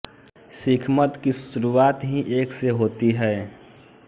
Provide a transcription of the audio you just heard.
सिखमत की शुरुआत ही एक से होती है